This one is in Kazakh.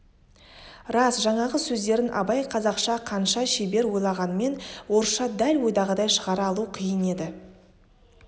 рас жаңағы сөздерін абай қазақша қанша шебер ойланғанмен орысша дәл ойдағыдай шығара алу қиын еді